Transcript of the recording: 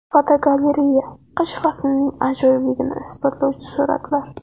Fotogalereya: Qish faslining ajoyibligini isbotlovchi suratlar.